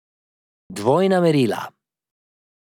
Dvojna merila.